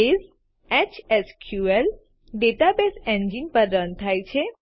base HSQL database engine પર run થાય છે